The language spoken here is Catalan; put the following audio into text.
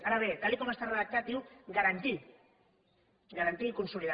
ara bé tal com està redactat diu garantir garantir i consolidar